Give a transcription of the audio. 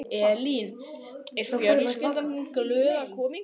Elín: Er fjölskyldan þín glöð að koma hingað?